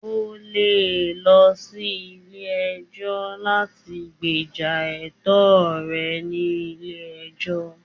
O le lọ sí ilé ẹjọ́ láti gbéjà ẹ̀tọ́ rẹ ni ilé ẹjọ́.